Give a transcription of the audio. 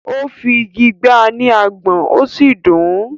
ó fi igi gbá a ní agbọ̀n ó sì dùn ún.